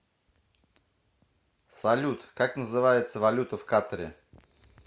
салют как называется валюта в катаре